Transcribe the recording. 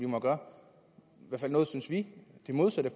må gøre noget synes vi